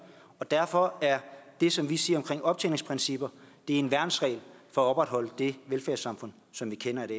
og derfor er det som vi siger om optjeningsprincipper en værnsregel for at opretholde det velfærdssamfund som vi kender i